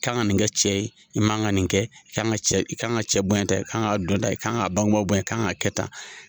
I ka kan ka nin kɛ cɛ ye, i man kan ka nin kɛ, i kan ka cɛ bɔ tɛ, i kan ka don tan, i ka kan ka bangebagaw bonya, i ka kan ka kɛ tan.